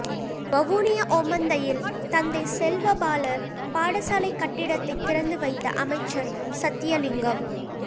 வவுனியா ஓமந்தையில் தந்தை செல்வா பாலர் பாடசாலை கட்டிடத்தை திறந்து வைத்த அமைச்சர் சத்தியலிங்கம்